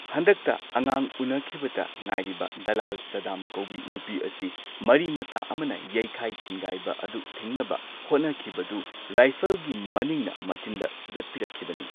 ꯍꯟꯗꯛꯇ ꯑꯉꯥꯡ ꯎꯅꯈꯤꯕꯗ ꯉꯥꯏꯔꯤꯕ ꯗꯂꯥꯜ ꯁꯗꯥꯝ ꯀꯧꯕꯤ ꯅꯨꯄꯤ ꯑꯁꯤ ꯃꯔꯤ ꯃꯇꯥ ꯑꯃꯅ ꯌꯩꯈꯥꯏ ꯊꯤꯟꯒꯥꯏꯕ ꯑꯗꯨ ꯊꯤꯡꯅꯕ ꯍꯣꯠꯅꯈꯤꯕꯗꯨ ꯔꯥꯏꯐꯜꯒꯤ ꯃꯅꯤꯡꯅ ꯃꯆꯤꯟꯗ ꯁꯨꯗꯠꯄꯤꯔꯛꯈꯤꯕꯅꯤ꯫